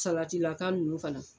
Salatilaka ninnu fana